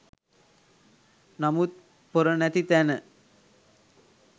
නමුත් පොර නැති තැන